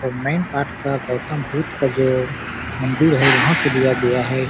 और मैनपाट का गौतम बुद्ध का जो मंदिर है वहाँ से लिया गया हैं ।